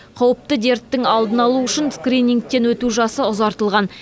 қауіпті дерттің алдын алу үшін скринингтен өту жасы ұзартылған